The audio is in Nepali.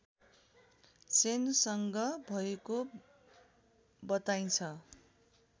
सेनसँग भएको बताइन्छ